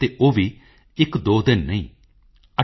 in body and soul you have everything to give